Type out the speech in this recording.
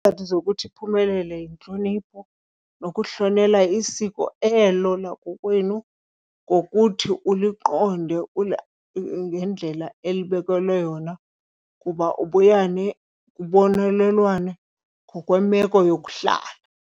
Izizathu zokuthi iphumelele yintlonipho nokuhlonela isiko elo lakokwenu ngokuthi uliqonde ngendlela elibekelwe yona, kuba ubuya kubonelelwane ngokwemeko yokuhlala.